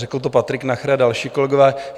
Řekl to Patrik Nacher a další kolegové.